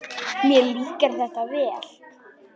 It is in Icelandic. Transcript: Mér líkar þetta vel.